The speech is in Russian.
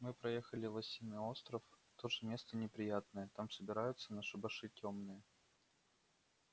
мы проехали лосиный остров тоже место неприятное там собираются на шабаши тёмные